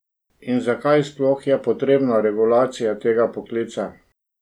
In zakaj sploh je potrebna regulacija tega poklica?